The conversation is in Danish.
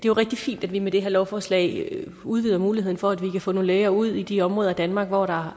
er rigtig fint at vi med det her lovforslag udvider muligheden for at få nogle læger ud i de områder af danmark hvor der